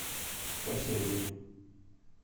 спасение